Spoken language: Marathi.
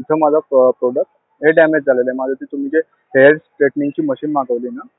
इथं माझं अं product हे damage झालंय. माझं तिथं म्हणजे तुम्ही hair straightning ची machine मागवलीये म्हणून.